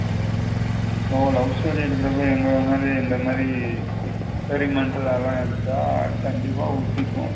So love story எடுக்குரபோ எங்கள மாதிரி இந்த மாதிரி experimental அதுலம் எடுத்த கண்டிப்பா உத்திக்கும்.